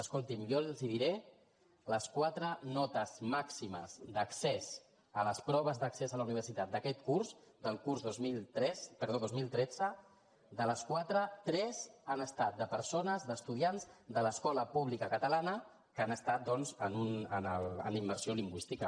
escolti’m jo els diré que de les quatre notes màximes d’accés a les proves d’accés a la universitat d’aquest curs del curs dos mil tretze de les quatre tres han estat de persones d’estudiants de l’escola pública catalana que han estat doncs en immersió lingüística